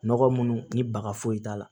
Nɔgɔ munnu ni baga foyi t'a la